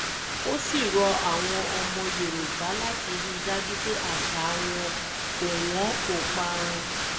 ó sì rọ àwọn ọmọ ilẹ̀ yorùbá láti rí i dájú pé àṣà wọn kò wọn kò parun